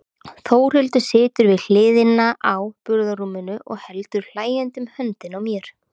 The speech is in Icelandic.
Þórhildur situr við hliðina á burðarrúminu og heldur hlæjandi um höndina á mér.